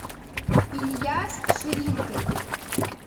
ильяс ширингин